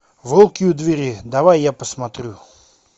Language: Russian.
волки у двери давай я посмотрю